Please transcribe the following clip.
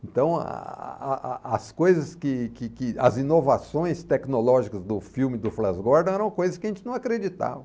Então, a a a a as coias que que que as inovações tecnológicas do filme do Flash Gordon eram coisas que a gente não acreditava.